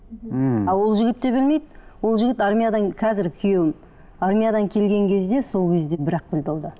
мхм а ол жігіт те білмейді ол жігіт армиядан қазіргі күйеуім армиядан келген кезде сол кезде бір ақ білді ол да